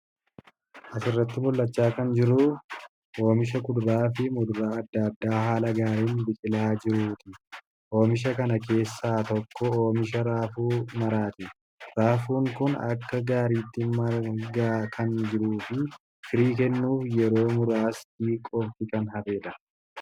Asirratti mul'achaa kan jiru oomisha kuduraafi muduraa adda addaa haala gaariin biqilaa jiruuti. Oomisha kana keessaa tokko oomisha raafuu maraati. Raafuun Kun akka gaariitti margaa kan jiruufi firii kennuuf yeroo muraasti qofti kan hafedha.